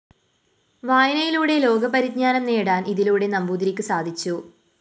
വായനയിലൂടെ ലോകപരിജ്ഞാനം നേടാന്‍ ഇതിലൂടെ നമ്പൂതിരിക്ക് സാധിച്ചു